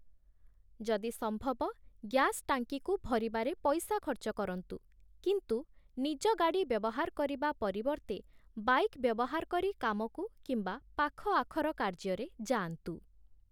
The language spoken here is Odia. ଯଦି ସମ୍ଭବ ଗ୍ୟାସ୍‌ ଟ୍ୟାଙ୍କିକୁ ଭରିବାରେ ପଇସା ଖର୍ଚ୍ଚ କରନ୍ତୁ କିନ୍ତୁ ନିଜ ଗାଡ଼ି ବ୍ୟବହାର କରିବା ପରିବର୍ତ୍ତେ ବାଇକ୍ ବ୍ୟବହାର କରି କାମକୁ କିମ୍ବା ପାଖଆଖର କାର୍ଯ୍ୟରେ ଯାଆନ୍ତୁ ।